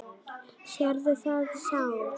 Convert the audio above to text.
Sérðu þetta sár?